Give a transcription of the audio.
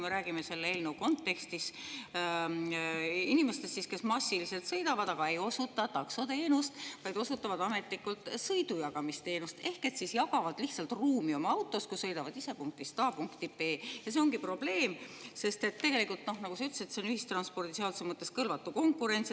Me räägime selle eelnõu kontekstis inimestest, kes massiliselt sõidavad, aga ei osuta taksoteenust, vaid ametlikult osutavad sõidujagamisteenust ehk siis jagavad lihtsalt ruumi oma autos, kui sõidavad ise punktist A punkti B. Ja see ongi probleem, sest nagu sa ütlesid, see on ühistranspordiseaduse mõttes kõlvatu konkurents.